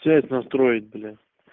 связь настроить блять